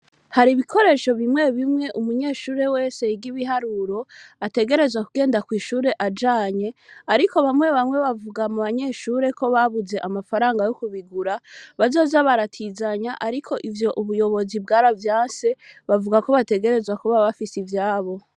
Hari ibikoresho bimwe bimwe umunyeshure wese igibiharuro ategerezwa kugenda kw'ishure ajanye, ariko bamwe bamwe bavuga mu banyeshure ko babuze amafaranga yo kubigura bazoja baratizanya, ariko ivyo ubuyobozi bwaravyanse bavuga ko bategerezwa kuba bafise ivyabo.